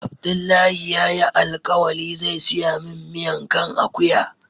Abdullahi ya yi alkawali zai siya min miyan kan akuya